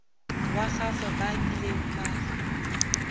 wa gagwe ba kileng ba